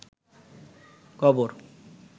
কবর